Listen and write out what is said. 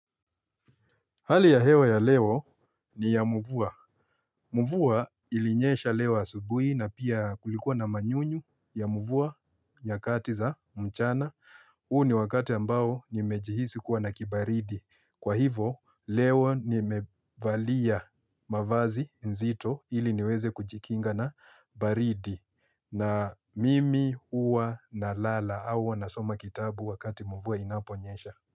Hali ya hewa ya leo ni ya mvua. Mvua ilinyesha leo subuhi na pia kulikuwa na manyunyu ya mvua nyakati za mchana. Huu ni wakati ambao nimejihisi kuwa na kibaridi. Kwa hivo leo nimevalia mavazi nzito ili niweze kujikinga na baridi. Na mimi huwa nalala au n huwa nasoma kitabu wakati mvua inaponyesha.